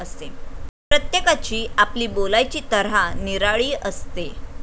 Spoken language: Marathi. प्रत्येकाची आपली बोलायची तऱ्हा निराळी असते.